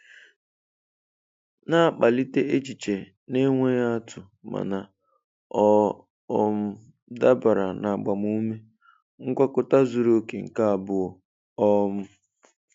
Na-akpalite echiche na-enweghị atụ mana ọ um dabara na agbamume. Ngwakọta zuru oke nke abụọ!! um